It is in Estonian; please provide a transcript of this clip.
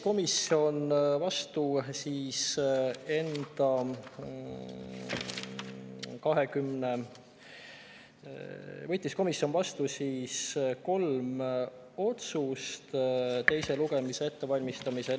Komisjon võttis teise lugemise ettevalmistamisel vastu kolm otsust.